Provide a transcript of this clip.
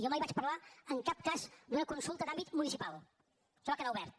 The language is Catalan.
jo mai vaig parlar en cap cas d’una consulta d’àmbit municipal això va quedar obert